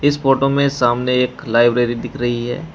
इस फोटो में सामने एक लाइब्रेरी दिख रही है।